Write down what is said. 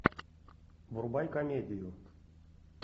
врубай комедию